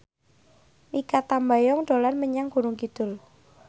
Mikha Tambayong dolan menyang Gunung Kidul